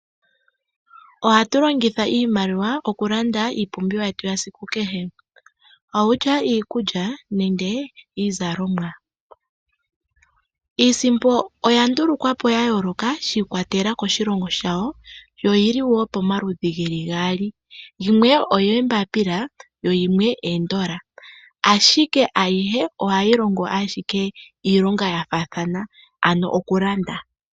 Ohatu longitha iimaliwa okulanda iipumbiwa yetu yesiku kehe kutya iikulya nenge iizalomwa. Iisimpo oya nduulukwa po yayooloka shi ikwatelela koshilongo shawo, yo oyili woo pomaludhi geli gaali. Yimwe oyoombapila yo yimwe oondola, ashike ayihe ohayi longo ashike iilongo yafaathana ano okulanda.